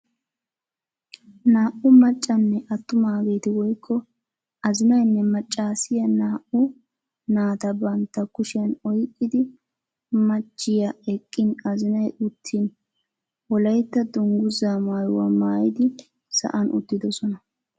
naa"u maccanne atumaageeti woykko azzinaynne macaasiya naau naatavbantta kushshiyan oyqqidi machchiya eqqin azinay uttin wolaytta danguzzaa maayuwa maayidi saan uttidosona.